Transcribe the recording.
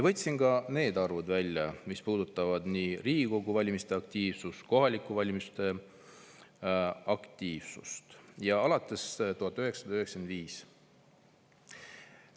Võtsin välja alates 1995. aastast need arvud, mis puudutavad aktiivsust nii Riigikogu valimistel kui ka kohalikel valimistel.